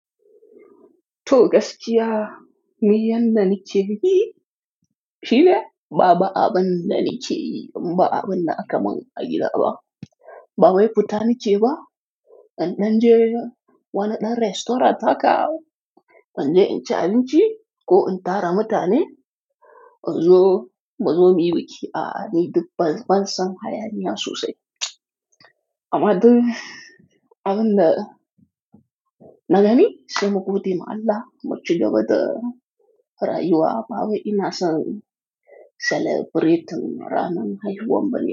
To gaskiya, niyan da nike bi Shi ne? Ba a, abin da nikeyi, inba abin da aka mun a gida ba. Ba wai futa nike ba. An ɗan je wani ɗan restaurant haka, an je in ci abinci ko in tara mutane. Mazo, mazo muyi biki ah ni bansan hayaniya sosai. Amma duk abin da na gani sai mu gode ma Allah, mu ci gaba da Rayuwa, ba wai ina son celebrating ranan haihuwan bana.